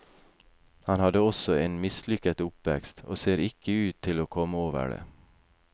Han hadde også en mislykket oppvekst, og ser ikke ut til å komme over det.